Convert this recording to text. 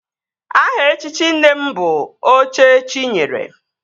Aha echichi nne m bụ Oche chi nyere